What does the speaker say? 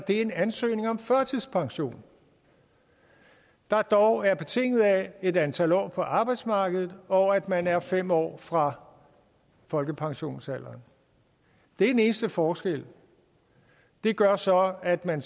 en ansøgning om førtidspension der dog er betinget af et antal år på arbejdsmarkedet og at man er fem år fra folkepensionsalderen det er den eneste forskel det gør så at man